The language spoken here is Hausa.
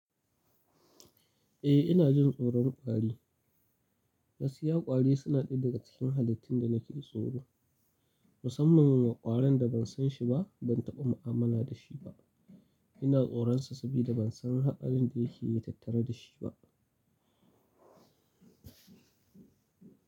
Eh ina jin tsoron ƙwari. Gaskiya ƙwari suna ɗaya daga cikin halittun da nake tsoro musamman m ƙwaron da ban san shi ba, ban taɓa mu'amala da shi ba. Ina tsoron sa sabida ban san haɗarin da yake tattare da shi ba.